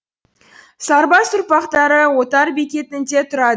сарбас ұрпақтары отар бекетінде тұра